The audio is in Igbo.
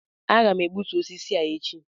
Aga m egbutu osisi a echi